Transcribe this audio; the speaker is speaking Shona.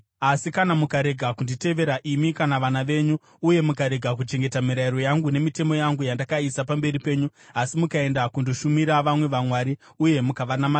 “Asi kana mukarega kunditevera, imi kana vana venyu, uye mukarega kuchengeta mirayiro yangu nemitemo yangu yandakaisa pamberi penyu, asi mukaenda kundoshumira vamwe vamwari uye mukavanamata,